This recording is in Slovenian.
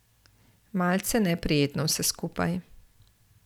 Malce neprijetno vse skupaj.